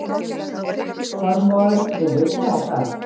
Þormóður, mun rigna í dag?